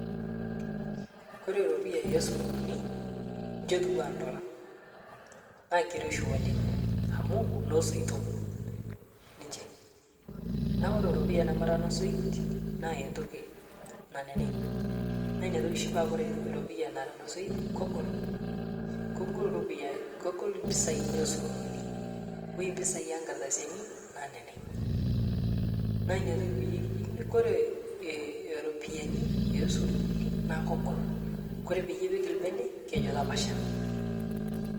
Kore ropiyani esururuni nchotua ndola na keiroshi oleng amu nosoito niche naaku Kore ropiya nemara nosoit naa ntoki naneneg naa niatoki shii kore ropiya nara nosoit kogol, kogol ropiya esururuni oi mpisai enkardasin naneneg naa niatoki payie kijokini Kore ropiyani esururuni naakogol Kore payie ipik lbene kejo tapasha.